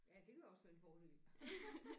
Ja det kunne også være en fordel